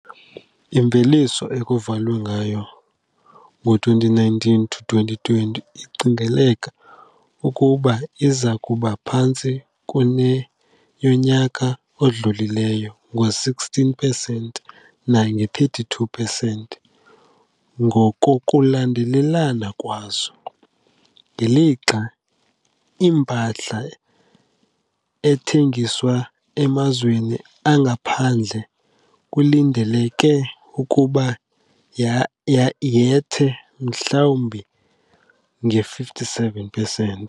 Imveliso ekuvalwe ngayo ngo-2019 to 2020 icingeleka ukuba iza kuba phantsi kuneyonyaka odlulileyo nge-16 percent nange-32 percent ngokokulandelelana kwazo, ngelixa impahla ethengiswa emazweni angaphandle kulindeleke ukuba yethe mhlawumbi nge-57 percent.